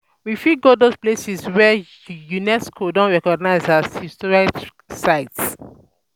We fit go those places wey UNESCO don recognise as heritage site